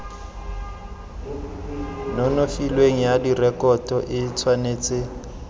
nonofileng ya direkoto e tshwanetse